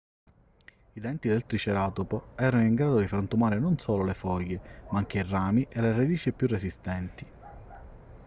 i denti del triceratopo erano in grado di frantumare non solo le foglie ma anche i rami e le radici più resistenti